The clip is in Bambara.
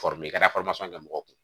i ka kɛ mɔgɔw kun